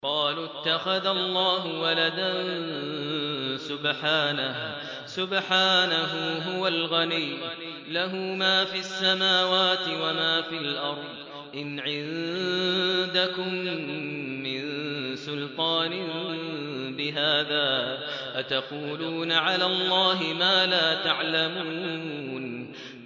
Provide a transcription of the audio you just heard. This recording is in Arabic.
قَالُوا اتَّخَذَ اللَّهُ وَلَدًا ۗ سُبْحَانَهُ ۖ هُوَ الْغَنِيُّ ۖ لَهُ مَا فِي السَّمَاوَاتِ وَمَا فِي الْأَرْضِ ۚ إِنْ عِندَكُم مِّن سُلْطَانٍ بِهَٰذَا ۚ أَتَقُولُونَ عَلَى اللَّهِ مَا لَا تَعْلَمُونَ